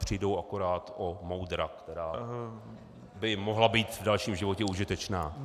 Přijdou akorát o moudra, která by mohla být v dalším životě užitečná.